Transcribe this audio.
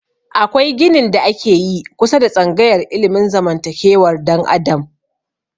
Akwai ginin da ake yi kusa da tsangayar ilimin zamantakewar dan adam